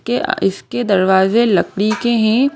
के अइसके दरवाजे लकड़ी के हैं।